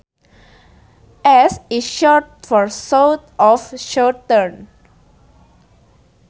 S is short for south or southern